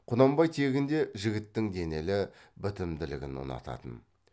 құнанбай тегінде жігіттің денелі бітімділігін ұнататын